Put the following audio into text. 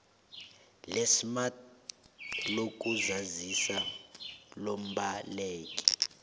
lesmart lokuzazisa lombaleki